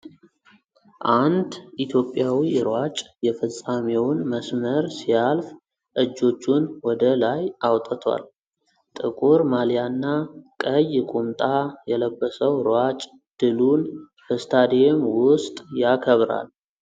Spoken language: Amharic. አንድ ኢትዮጵያዊ ሯጭ የፍጻሜውን መስመር ሲያልፍ እጆቹን ወደ ላይ አውጥቷል። ጥቁር ማሊያና ቀይ ቁምጣ የለበሰው ሯጭ ድሉን በስታዲየም ውስጥ ያከብራል።